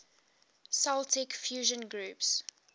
celtic fusion groups